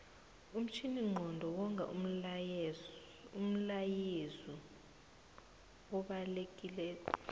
umtjhininqondo wonga umlayezu obalekilelo